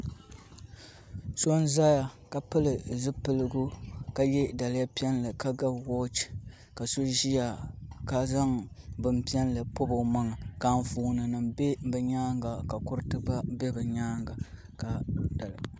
So n ʒɛya ka pili zipiligu ka yɛ daliya piɛlli ka ga wooch ka so ʒiya ka zaŋ bin piɛlli pobi o maŋa ka Anfooni nim bɛ bi nyaanga ka kuriti gba bɛ bi nyaanga ka